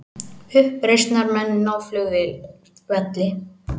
Uppreisnarmenn ná flugvelli